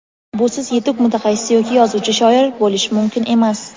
Busiz yetuk mutaxassis yoki yozuvchi-shoir bo‘lish mumkin emas.